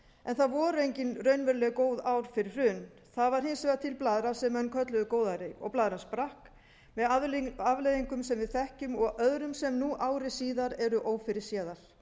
en það voru engin raunveruleg góð ár fyrir hrun það var hins vegar til blaðra sem menn kölluðu góðæri og blaðran sprakk með afleiðingum sem við þekkjum og öðrum sem nú ári síðar eru ófyrirséðar